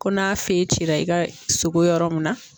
Ko n'a cira i ka sogo yɔrɔ min na